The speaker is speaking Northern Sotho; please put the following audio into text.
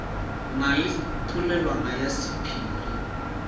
na le polelwana ya sephiri